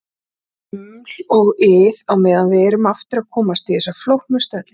Uml og ið á meðan við erum aftur að komast í þessa flóknu stellingu.